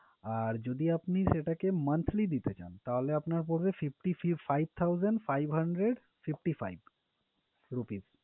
আর যদি আপনি সেটাকে monthly দিতে চান তাহলে আপনার পড়বে, fifty five thousand five hundred fifty five rupees